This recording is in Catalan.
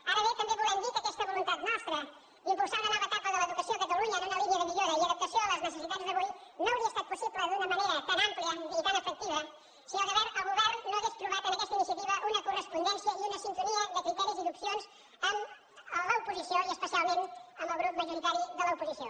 ara bé també volem dir que aquesta voluntat nostra d’impulsar una nova etapa de l’educació a catalunya en una línia de millora i adaptació a les necessitats d’avui no hauria estat possible d’una manera tan àmplia ni tan efectiva si el govern no hagués trobat en aquesta iniciativa una correspondència i una sintonia de criteris i d’opcions amb l’oposició i especialment amb el grup majoritari de l’oposició